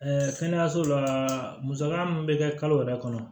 kɛnɛyaso la musaka mun bɛ kɛ kalo yɛrɛ kɔnɔ